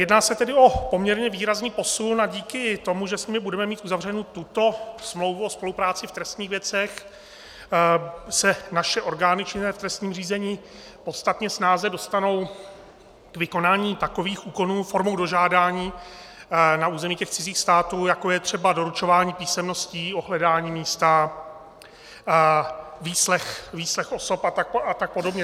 Jedná se tedy o poměrně výrazný posun a díky tomu, že s nimi budeme mít uzavřenu tuto smlouvu o spolupráci v trestních věcech, se naše orgány činné v trestním řízení podstatně snáze dostanou k vykonání takových úkonů formou dožádání na území těch cizích států, jako je třeba doručování písemností, ohledání místa, výslech osob a tak podobně.